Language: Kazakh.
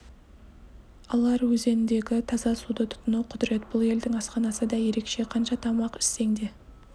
алар өзендегі таза суды тұтыну құдірет бұл елдің асханасы да ерекше қанша тамақ ішсең де